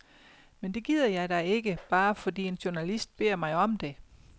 Men det gider jeg da ikke, bare fordi en journalist beder mig om det.